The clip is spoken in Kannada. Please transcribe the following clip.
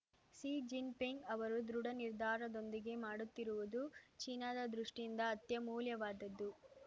ಸಿ ಜಿನ್‌ಪಿಂಗ್‌ ಅವರು ದೃಢ ನಿರ್ಧಾರದೊಂದಿಗೆ ಮಾಡುತ್ತಿರುವುದು ಚೀನಾದ ದೃಷ್ಟಿಯಿಂದ ಅತ್ಯಮೂಲ್ಯವಾದದ್ದು